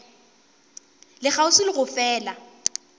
le kgauswi le go fela